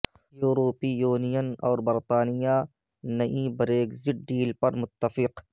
یورپی یونین اور برطانیہ نئی بریگزٹ ڈیل پر متفق